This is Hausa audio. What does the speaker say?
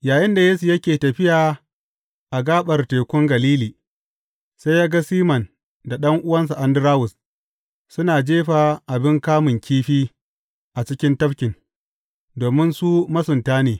Yayinda Yesu yake tafiya a gaɓar Tekun Galili, sai ya ga Siman da ɗan’uwansa Andarawus, suna jefa abin kamun kifi a cikin tafkin, domin su masunta ne.